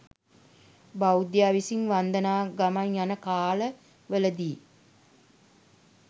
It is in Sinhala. බෞද්ධයා විසින් වන්දනා ගමන් යන කාල වලදී